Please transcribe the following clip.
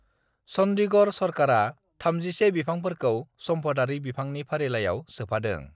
चंडीगढ़ सरकारा 31 बिफांफोरखौ सम्फदारि बिफांनि फारिलाइयाव सोफादों ।